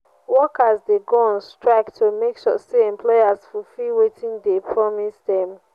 workers de go on strike to make sure say employers fulfill wetin de promise dem